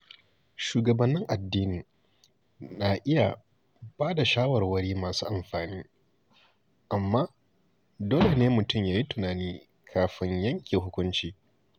Shugabannin addini na iya ba da shawarwari masu amfani, amma dole ne mutum ya yi tunani kafin yanke hukunci.